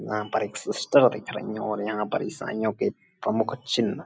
यहाँ पर एक सिस्टर दिख रही हैं और यहाँ पर ईसाईयों के प्रमुख चिन्ह --